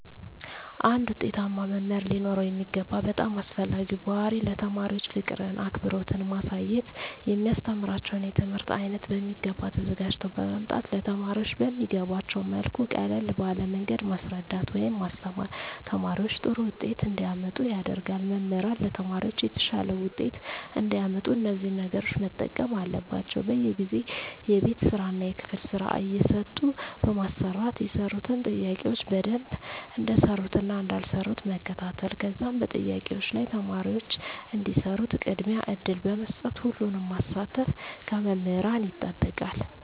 አንድ ዉጤታማ መምህር ሊኖረዉ የሚገባ በጣም አስፈላጊዉ ባህሪይ ለተማሪዎች ፍቅርን አክብሮትን ማሳየት የሚያስተምራቸዉን የትምህርት አይነት በሚገባ ተዘጋጅተዉ በመምጣት ለተማሪዎች በሚገቧቸዉ መልኩ ቀለል ባለ መንገድ ማስረዳት ወይም ማስተማር ተማሪዎች ጥሩ ዉጤት እንዲያመጡ ያደርጋል መምህራን ለተማሪዎች የተሻለ ዉጤት እንዲያመጡ እነዚህን ነገሮች መጠቀም አለባቸዉ በየጊዜዉ የቤት ስራእና የክፍል ስራ እየሰጡ በማሰራት የሰሩትን ጥያቄዎች በደንብ እንደሰሩትእና እንዳልሰሩት መከታተል ከዛም በጥያቄዎች ላይ ተማሪዎች እንዲሰሩት ቅድሚያ እድል በመስጠት ሁሉንም ማሳተፍ ከመምህራን ይጠበቃል